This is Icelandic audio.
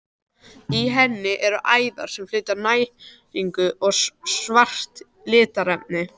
Í henni eru æðar sem flytja næringu og svart litarefni.